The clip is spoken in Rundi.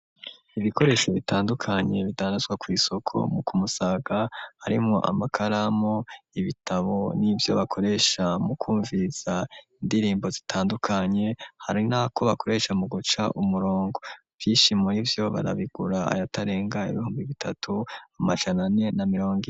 Ibikoresho bitandukanye bidandazwa kw'isoko mu kumusaga harimwo amakaramo, ibitabo, n'ivyo bakoresha mu kumviza indirimbo zitandukanye hari nako bakoresha mu guca umurongo byishimuribyo barabigura ayatarenga ibihumbi bitatu amajanane na mirongine.